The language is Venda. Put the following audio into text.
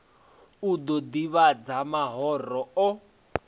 u ḓo ḓivhadza mahoro o